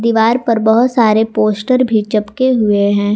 दीवार पर बहुत सारे पोस्टर भी चपके हुए हैं।